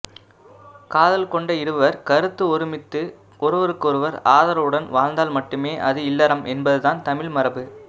காதல் கொண்ட இருவர் கருத்து ஒருமித்து ஒருவருக்கொருவர் ஆதரவுடன் வாழ்ந்தால் மட்டுமே அது இல்லறம் என்பதுதான் தமிழ் மரபு